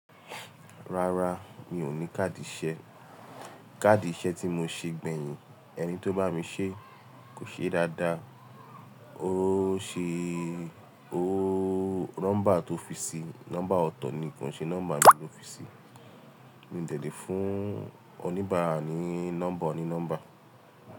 Rárá, mi ò ní káàdì ìṣe. Káàdì ìṣe tí mo ṣe gbẹ̀yìn, ẹni tó bá mi ṣe kò ṣe dáadáa. Ó ṣe, óóó, nọ́mbà tó fi sí, nọ́mbà ọ̀tọ̀ ni kò ṣe nọ́mbà mi ló fi sí. Mi ò dẹ̀lé fún oníbàárà ní nọ́mbà onínọ́mbà.